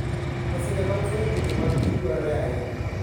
Masinde mag fwenyo tuoche mag kich dwarore ahinya.